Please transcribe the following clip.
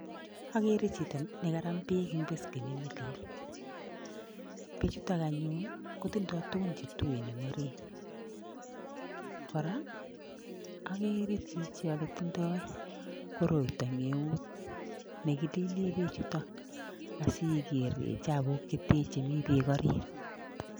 Agere chito nekaram beek eng beskenit nelel. Bechutok anyun kotindoi tugun che tuen eng orit. Kora, agere chichi ole tindoi koroito eng eut negilile bechuto asiger chabuk chete chemi beek orit.